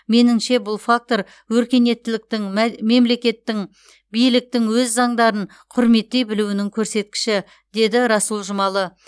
меніңше бұл фактор өркениеттіліктің мә мемлекеттің биліктің өз заңдарын құрметтей білуінің көрсеткіші деді расул жұмалы